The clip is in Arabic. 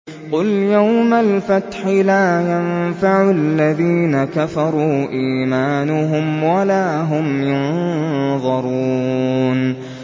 قُلْ يَوْمَ الْفَتْحِ لَا يَنفَعُ الَّذِينَ كَفَرُوا إِيمَانُهُمْ وَلَا هُمْ يُنظَرُونَ